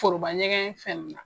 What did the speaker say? Forobaɲɛgɛn fɛn na